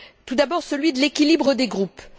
Tout d'abord, celui de l'équilibre des groupes.